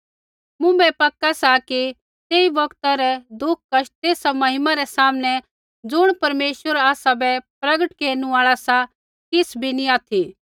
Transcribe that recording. मुँभै पक्का सा कि ऐई बौगता रै दुःख कष्ट तेसा महिमा रै सामनै ज़ुण परमेश्वर आसाबै प्रगट केरनु आल़ा सा किछ़ भी नैंई ऑथि